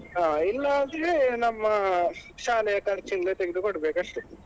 ಹಾ ಇಲ್ಲಾದ್ರೆ ನಮ್ಮ ಶಾಲೆಯ ಖರ್ಚಿನಿಂದ ತೆಗ್ದು ಕೊಡ್ಬೇಕಷ್ಟೆ.